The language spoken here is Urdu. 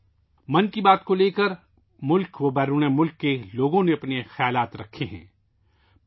'من کی بات' پر ملک اور بیرون ملک سے لوگوں نے اپنے خیالات کا اظہار کیا ہے